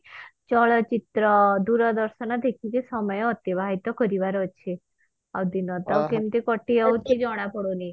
ଚଳଚିତ୍ର ଦୂରଦର୍ଶନ ଦେଖିକି ସମୟ ଅତିବାହିତ କରିବାର ଅଛି ଆଉ ଦିନ ତ କେମତି କଟିଯାଉଛି ଜଣା ପଡୁନି